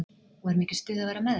Og er mikið stuð að vera með þeim?